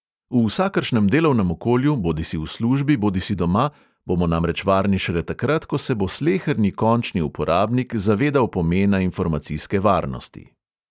V vsakršnem delovnem okolju, bodisi v službi bodisi doma, bomo namreč varni šele takrat, ko se bo sleherni končni uporabnik zavedal pomena informacijske varnosti.